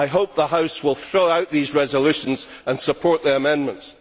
I hope the House will throw out these resolutions and support the amendments.